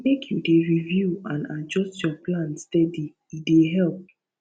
make you dey review and adjust your plan steady e dey help